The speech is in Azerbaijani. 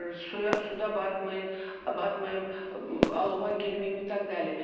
Suya, suda batmayın, batmayım, alova girməyim və s.